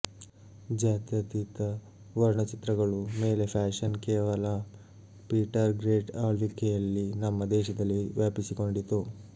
ಜಾತ್ಯತೀತ ವರ್ಣಚಿತ್ರಗಳು ಮೇಲೆ ಫ್ಯಾಷನ್ ಕೇವಲ ಪೀಟರ್ ಗ್ರೇಟ್ ಆಳ್ವಿಕೆಯಲ್ಲಿ ನಮ್ಮ ದೇಶದಲ್ಲಿ ವ್ಯಾಪಿಸಿಕೊಂಡಿತು